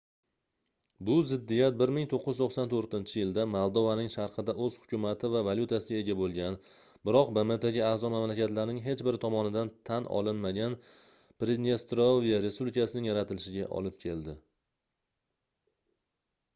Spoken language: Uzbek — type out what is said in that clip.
bu ziddiyat 1994-yilda moldovaning sharqida oʻz hukumati va valyutasiga ega boʻlgan biroq bmtga aʼzo mamlakatlarning hech biri tomonidan tan olinmagan pridnestrovye respublikasining yaratilishiga olib keldi